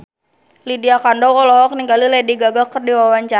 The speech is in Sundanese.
Lydia Kandou olohok ningali Lady Gaga keur diwawancara